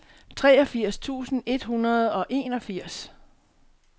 treogfirs tusind et hundrede og enogfirs